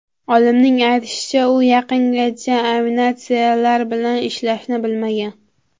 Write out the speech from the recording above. Olimning aytishicha, u yaqingacha animatsiyalar bilan ishlashni bilmagan.